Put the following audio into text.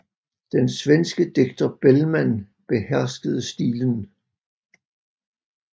Den svenske digter Bellman beherskede stilen